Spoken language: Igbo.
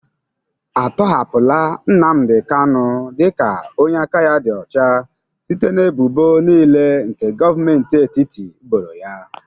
Atọhapụla Nnamdị kanụ dị ka onye aka ya dị ọcha site n'ebụbo niile nke Govmenti etiti boro ya?